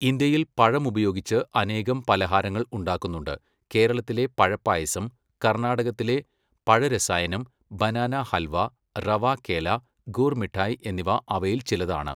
ഇന്ത്യയിൽ പഴമുപയോഗിച്ച് അനേകം പലഹാരങ്ങൾ ഉണ്ടാക്കുന്നുണ്ട്, കേരളത്തിലെ പഴപ്പായസം, കർണ്ണാടകത്തിലെ പഴരസായനം, ബനാനാഹൽവാ, റവാ കേല, ഗൂർ മിട്ടായ് എന്നിവ അവയിൽച്ചിലതാണ്.